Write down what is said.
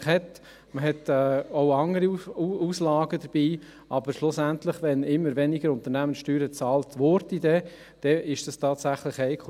Man hat auch andere Auslagen, aber schlussendlich, wenn immer weniger Unternehmenssteuern bezahlt werden, ist es tatsächlich heikel.